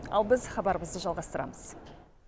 ал біз хабарымызды жалғастырамыз